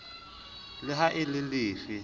le ha e le lefe